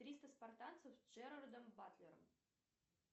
триста спартанцев с джеральдом батлером